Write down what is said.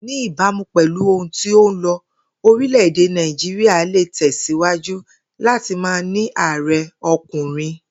Ní ìbámu pè̩lú ohun tí ó ń lo̩, orílè Nàìjíríà le tè̩sìwájú láti máa ní ààre̩ o̩kùnrin